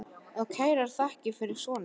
Og kærar þakkir fyrir son ykkar.